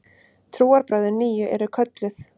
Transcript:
Trúarbrögðin nýju eru kölluð